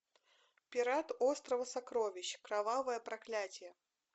пират острова сокровищ кровавое проклятие